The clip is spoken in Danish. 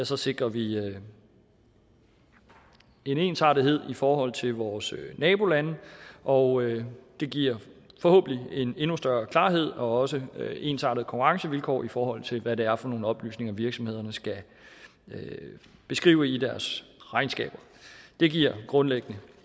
så sikrer vi en ensartethed i forhold til vores nabolande og det giver forhåbentlig en endnu større klarhed og også ensartede konkurrencevilkår i forhold til hvad det er for nogle oplysninger virksomhederne skal beskrive i deres regnskaber det giver grundlæggende